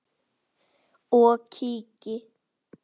og kíki.